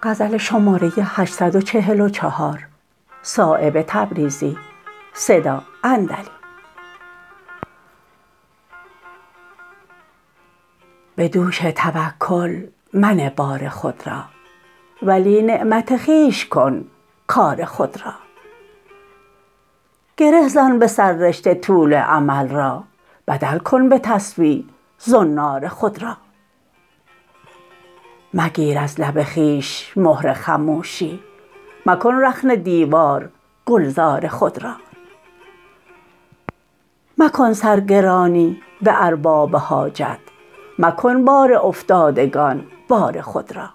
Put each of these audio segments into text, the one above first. به دوش توکل منه بار خود را ولی نعمت خویش کن کار خود را گره زن به سر رشته طول امل را بدل کن به تسبیح زنار خود را مگیر از لب خویش مهر خموشی مکن رخنه دیوار گلزار خود را مکن سر گرانی به ارباب حاجت مکن بار افتادگان بار خود را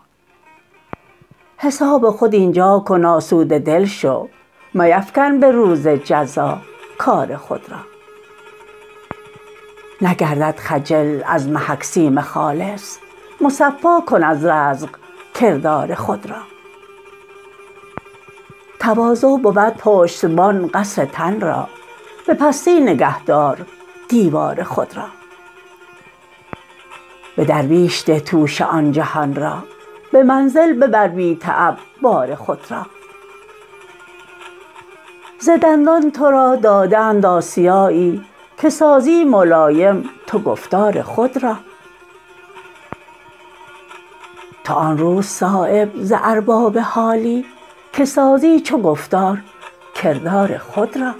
حساب خود اینجا کن آسوده دل شو میفکن به روز جزا کار خود را نگردد خجل از محک سیم خالص مصفا کن از رزق کردار خود را تواضع بود پشتبان قصر تن را به پستی نگه دار دیوار خود را به درویش ده توشه آن جهان را به منزل ببر بی تعب بار خود را ز دندان ترا داده اند آسیایی که سازی ملایم تو گفتار خود را تو آن روز صایب ز ارباب حالی که سازی چو گفتار کردار خود را